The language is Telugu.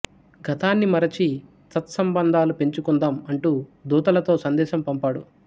గతాన్ని మరచి సత్సంబంధాలు పెంచుకుందాం అంటూ దూతలతో సందేశం పంపాడు